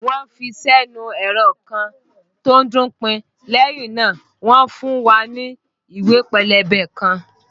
Wọ́n ń fi sẹ́nu ẹ̀rọ kan tó ń dún pin, lẹ́yìn náà wọn fún wa ní ìwé pélébé kan